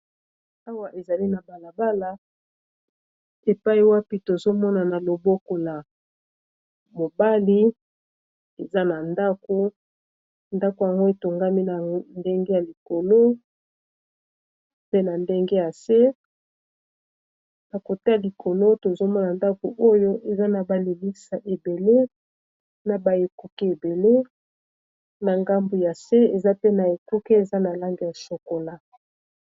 Awa ezali na balabala epai wapi tozomona na loboko ya mobali eza na ndako, ndako yango etongami na ndenge ya likolo pe na ndenge ya se nakota likolo tozomona ndako oyo eza na balimisa ebele na baekuki ebele na ngambu ya se eza pe na ekuki eza na lange ya sokola.